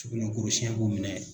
Sugunɛ kurusiyɛn b'o minɛn.